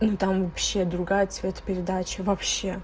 ну там вообще другая цветопередача вообще